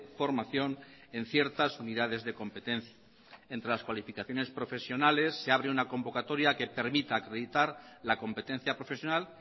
formación en ciertas unidades de competencia entre las cualificaciones profesionales se abre una convocatoria que permita acreditar la competencia profesional